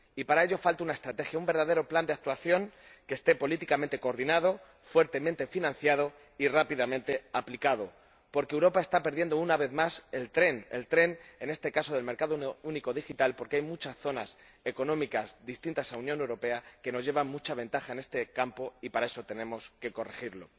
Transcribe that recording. Y, para ello, falta una estrategia, un verdadero plan de actuación que esté políticamente coordinado, que esté fuertemente financiado y que se aplique rápidamente, porque Europa está perdiendo una vez más el tren —el tren, en este caso, del mercado único digital, porque hay muchas zonas económicas, distintas de la Unión Europea, que nos llevan mucha ventaja en este campo— y eso tenemos que corregirlo.